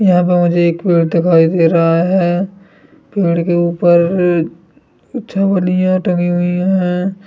यहाँ पे मुझे एक पेड़ दिखाई दे रहा है पेड़ के ऊपर कुछ टँगी हुई हैं।